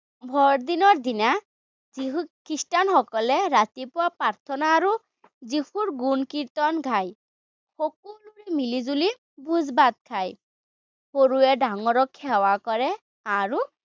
বৰদিনৰ দিনা যীশু, খ্ৰীষ্টানসকলে ৰাতিপুৱা প্ৰাৰ্থনা আৰু যীশুৰ গুণ-কীৰ্তন গায়। সকলোৱে মিলিজুলি ভোজ-ভাত খায়। সৰুৱে ডাঙৰক সেৱা কৰে আৰু